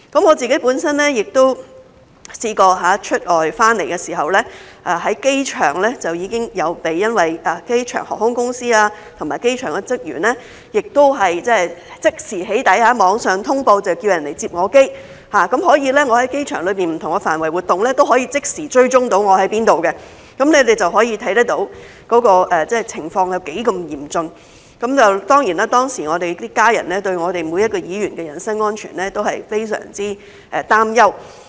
我本身也曾試過在出外回港的時候，在機場就已經被航空公司和機場的職員即時"起底"，他們在網上通報叫人來"接機"，我在機場不同範圍的活動，都可以即時被追蹤，大家可以看到情況是那麼的嚴峻，當時每一個議員的家人對議員的人身安全都非常擔憂。